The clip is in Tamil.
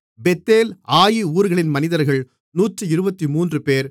பெத்தேல் ஆயி ஊர்களின் மனிதர்கள் 123 பேர்